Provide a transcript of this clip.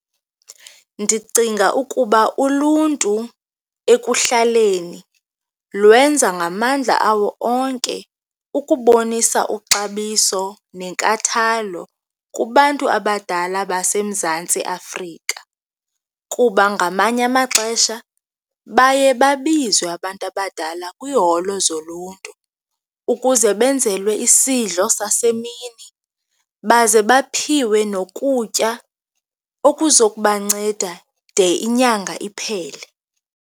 Ndicinga ukuba uluntu ekuhlaleni lwenza ngamandla awo onke ukubonisa uxabiso nenkathalo kubantu abadala baseMzantsi Afrika kuba ngamanye amaxesha baye babizwe abantu abadala kwiiholo zoluntu ukuze benzelwe isidlo sasemini, baze baphiwe nokutya okuza kubanceda de inyanga iphele.